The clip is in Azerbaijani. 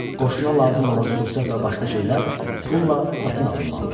Qoşuna lazım olan sursət və başqa şeylər pulla satın alınmalıdır.